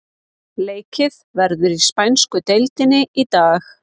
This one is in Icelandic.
Leikið verður í spænsku deildinni í dag.